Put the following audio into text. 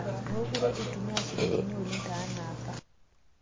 Mokure itumiyaa shilingini oleng taana apa